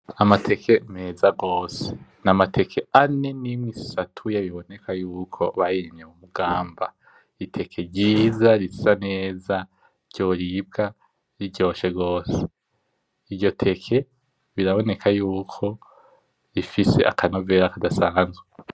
Amateke meza gose. Ni amateke ane n'imwe isatuye riboneka yuko bayirimye mu Mugamba. Ni iteke ryiza risa neza ryoribwa riryoshe gose. Iryo teke riraboneka yuko rifise akanovera kadasanzwe.